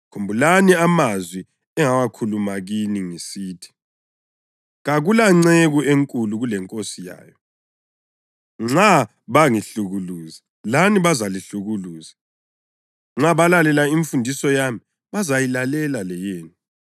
Khumbulani amazwi engawakhuluma kini ngisithi: ‘Kakulanceku enkulu kuleNkosi yayo.’ + 15.20 UJohane 13.16 Nxa bangihlukuluza, lani bazalihlukuluza. Nxa balalela imfundiso yami, bazayilalela leyenu.